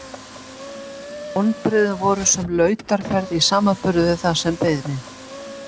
En vonbrigðin voru sem lautarferð í samanburði við það sem beið mín.